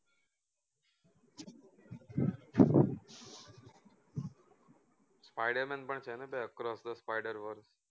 spiderman પણ છે ને across the spider verse